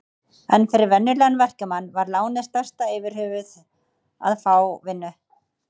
En fyrir venjulegan verkamann var lánið stærsta yfirhöfuð að fá vinnu.